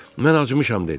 Mən acmışam dedi.